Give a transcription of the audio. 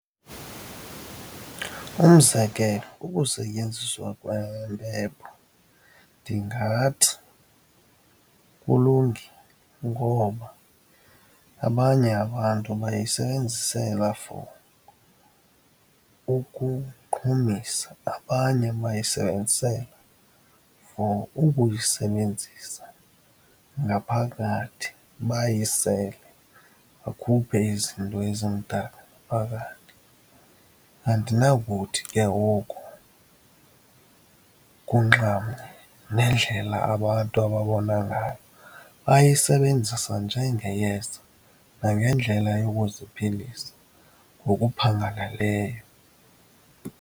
Umzekelo, ukusetyenziswa kwempepho ndingathi kulungile ngoba abanye abantu bayisebenzisela for ukuqhumisa, abanye bayisebenzisela for ukuyisebenzisa ngaphakathi, bayisele bakhuphe izinto ezimdaka ngaphakathi. Andinakuthi ke oku kunxamnye nendlela abantu ababona ngayo, bayisebenzisa njengeyeza nangendlela yokuziphilisa ngokuphangalaleyo.